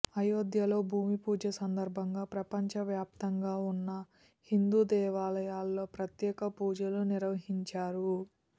అయోధ్యలో భూమి పూజ సందర్భంగా ప్రపంచ వ్యాప్తంగా ఉన్న హిందూ దేవాలయాల్లో ప్రత్యేక పూజలు నిర్వహించారు